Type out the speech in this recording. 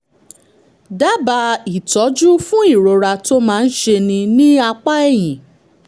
dábàá ìtọ́jú fún ìrora tó máa ń ṣeni ní apá ẹ̀yìn